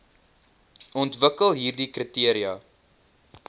ontwikkel hieride kriteria